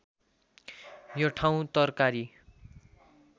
यो ठाउँ तरकारी